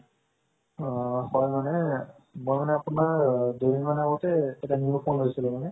আ হয় মানে মই মানে আপোনাৰ দুই মান অগতে এটা new phone লৈছিলো মানে